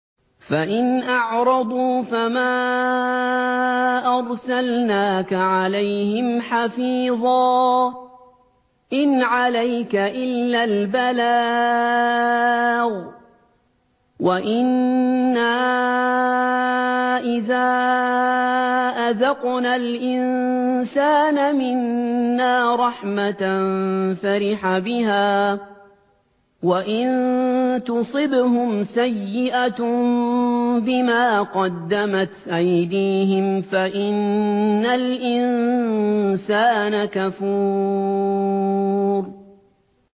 فَإِنْ أَعْرَضُوا فَمَا أَرْسَلْنَاكَ عَلَيْهِمْ حَفِيظًا ۖ إِنْ عَلَيْكَ إِلَّا الْبَلَاغُ ۗ وَإِنَّا إِذَا أَذَقْنَا الْإِنسَانَ مِنَّا رَحْمَةً فَرِحَ بِهَا ۖ وَإِن تُصِبْهُمْ سَيِّئَةٌ بِمَا قَدَّمَتْ أَيْدِيهِمْ فَإِنَّ الْإِنسَانَ كَفُورٌ